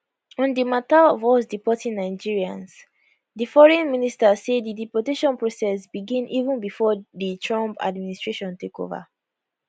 on di mata of us deporting nigerians di foreign minister say di deportation process begin even before di trump administration take over